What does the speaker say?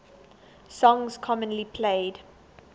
songs commonly played